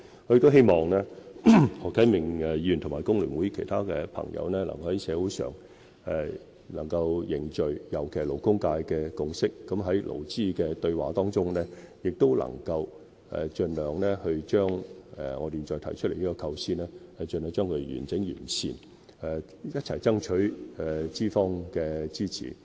我希望何啟明議員及工聯會其他朋友能夠在社會上凝聚共識，尤其是勞工界的共識，在勞資對話中能將我現在提出的構思盡量完整完善，一起爭取資方的支持。